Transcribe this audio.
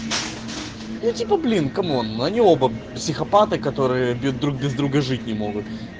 ну типа блин камон они оба психопаты которые бьют друг без друга жить не могут